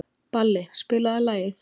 Balli, spilaðu lag.